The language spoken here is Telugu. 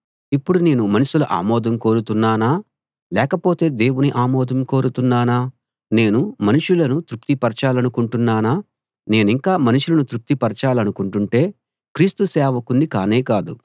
ఇప్పుడు నేను మనుషుల ఆమోదం కోరుతున్నానా లేకపోతే దేవుని ఆమోదం కోరుతున్నానా నేను మనుషులను తృప్తి పరచాలనుకుంటున్నానా నేనింకా మనుషులను తృప్తి పరచాలనుకుంటుంటే క్రీస్తు సేవకుణ్ణి కానే కాదు